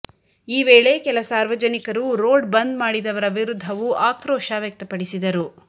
ಈ ವೇಳೆ ಕೆಲ ಸಾರ್ವಜನಿಕರು ರೋಡ್ ಬಂದ್ ಮಾಡಿದವರ ವಿರುದ್ಧವು ಆಕ್ರೋಶ ವ್ಯಕ್ತಪಡಿಸಿದರು